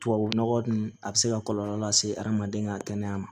Tubabu nɔgɔ dun a bɛ se ka kɔlɔlɔ lase adamaden ka kɛnɛya ma